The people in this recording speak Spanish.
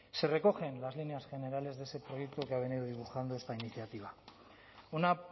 se recogen las líneas generales de ese proyecto que ha venido dibujando esta iniciativa una